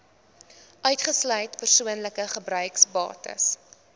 uitgesluit persoonlike gebruiksbates